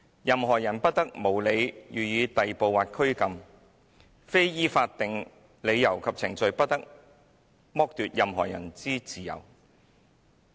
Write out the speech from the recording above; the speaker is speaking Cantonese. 任何人不得無理予以逮捕或拘禁，非依法定理由及程序，不得剝奪任何人之自由。